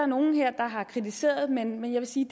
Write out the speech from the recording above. nogen her der har kritiseret men jeg vil sige